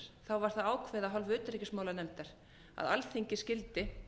það ákveðið af hálfu utanríkismálanefndar að alþingi skyldi